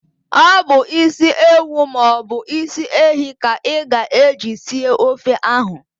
Ọ bụ ịsi ewu maọbụ ịsị ehi ka ị ga eji sie ofe ahu